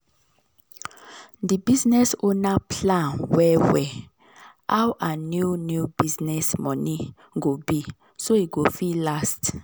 d business owner plan well well how her new new business money go be so e go fit last